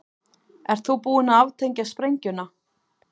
Ert þú búin að aftengja sprengjuna?